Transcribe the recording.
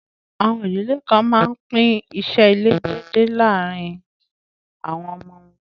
Àwọn idílẹ̀ kàn mán pín ìṣẹ̀ ilẹ̀ dẹ̀dẹ lárìn àwọn ọmọ wọn.